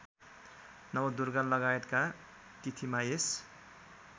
नवदुर्गालगायतका तिथिमा यस